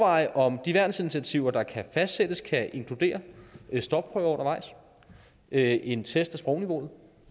om de værnsinitiativer der kan fastsættes kan inkludere stopprøver undervejs en en test af sprogniveauet og